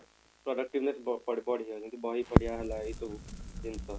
productiveness ବଢି ବଢି ବଢିଯାଉଛି ଯେମିତି କି ବହି ପଢିବା ହେଲା ଏଇ ସବୁ ଜିନିଷ